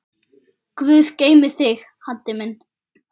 Guð geymi þig, Haddi minn.